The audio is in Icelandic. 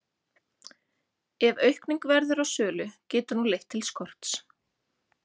Ef aukning verður á sölu getur hún leitt til skorts.